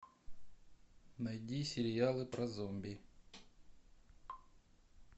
найди сериалы про зомби